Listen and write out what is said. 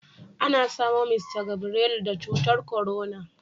Ana samo Mista Gabrelu da cutar korona